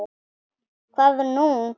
SKÚLI: Hvað nú?